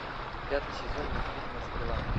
пятый сезон мультфильма стрела